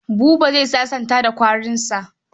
Buba za sasanta da kwarinsa.